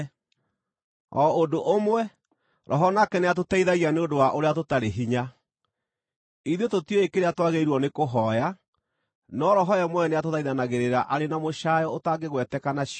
O ũndũ ũmwe, Roho nake nĩatũteithagia nĩ ũndũ wa ũrĩa tũtarĩ hinya. Ithuĩ tũtiũĩ kĩrĩa twagĩrĩirwo nĩkũhooya, no Roho we mwene nĩatũthaithanagĩrĩra arĩ na mũcaayo ũtangĩgweteka na ciugo.